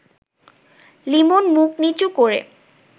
লিমন মুখ নিচু করে